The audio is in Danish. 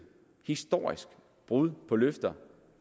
historisk brud på løfter